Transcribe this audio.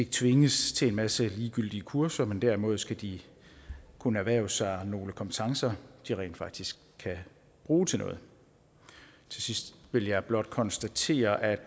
tvinges til en masse ligegyldige kurser men derimod skal de kunne erhverve sig nogle kompetencer de rent faktisk kan bruge til noget til sidst vil jeg blot konstatere at